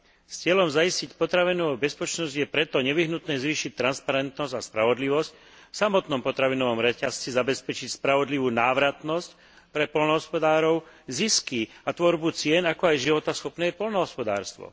S cieľom zaistiť potravinovú bezpečnosť je preto nevyhnutné zvýšiť transparentnosť a spravodlivosť v samotnom potravinovom reťazci. Zabezpečiť spravodlivú návratnosť pre poľnohospodárov, zisky a tvorbu cien, ako aj životaschopné poľnohospodárstvo.